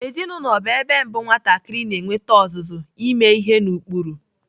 Ezinaụlọ bụ ebe mbụ nwatakịrị na-enwete ọzụzụ ime ihe n'ụkpụrụ.